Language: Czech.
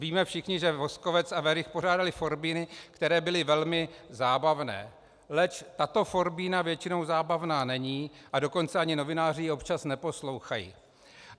Víme všichni, že Voskovec a Werich pořádali forbíny, které byly velmi zábavné, leč tato forbína většinou zábavná není, a dokonce ani novináři ji občas neposlouchají.